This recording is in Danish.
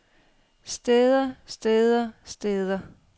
steder steder steder